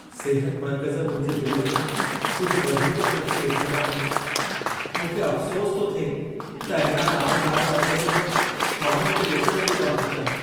सिहत मर्कज़ मुंहिंजे बिल में कुझु वधीक ख़र्च ॾेखारिया आहिनि। मूंखे अफ़सोसु थो थिए त अहिड़ा नामदार मर्कज़ बि माण्हुनि खे लुटण जो कम था कनि।